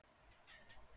Eru fleiri á leiðinni?